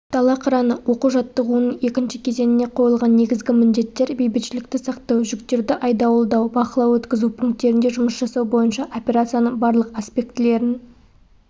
дала қыраны оқу-жаттығуының екінші кезеңіне қойылған негізгі міндеттер бейбітшілікті сақтау жүктерді айдауылдау бақылау-өткізу пункттерінде жұмыс жасау бойынша операцияның барлық аспектілерін